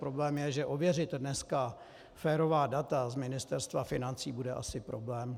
Problém je, že ověřit dneska férová data z Ministerstva financí bude asi problém.